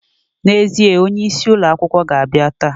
Na ezie, onye isi ulo akwukwo ga abia taa.